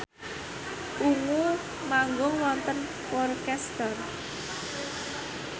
Ungu manggung wonten Worcester